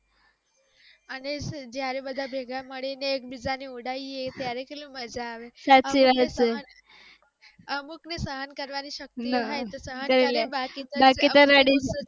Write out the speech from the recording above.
અને જ્યારે બધા ભેગા મળી ને એક બીજા ની ઉડાવીએ ત્યારે કેટલી મજા આવે અમુક ની સહન કરવાની શક્તિ હોય તો સહન કરી લે